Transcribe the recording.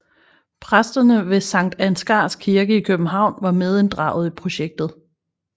Præstene ved Sankt Ansgars Kirke i København var medinddraget i projektet